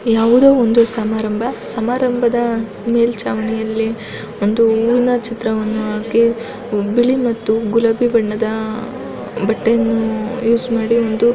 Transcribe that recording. ಯಾವುದೊ ಒಂದು ಸಮಾರಂಭ ಸಮಾರಂಭದ ಮೇಲ್ಚಾವಣಿಯಲ್ಲಿ ಒಂದು ಹೂವಿನ ಚಿತ್ರವನ್ನು ಹಾಕ್ಕಿ ಬಿಳಿ ಮತ್ತು ಗುಲಾಬಿ ಬಣ್ಣದ ಬಟ್ಟೆಯನ್ನು ಯೂಸ್ ಮಾಡಿ ಒಂದು.